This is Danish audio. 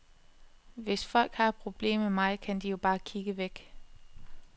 Hvis folk har et problem med mig, kan de jo bare kigge væk.